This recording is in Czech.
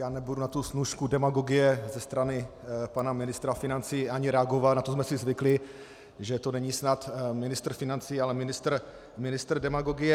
Já nebudu na tu snůšku demagogie ze strany pana ministra financí ani reagovat, na to jsme si zvykli, že to není snad ministr financí, ale ministr demagogie.